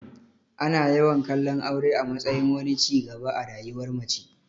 Ana yawan kallon aure a matsayin wani ci gaba a rayuwar mace.